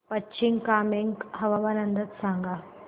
पश्चिम कामेंग हवामान अंदाज सांगा